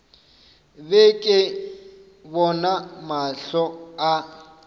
be ke bona mahlo a